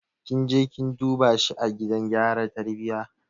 Kin je kin duba shi a gidan gyara tarbiyya?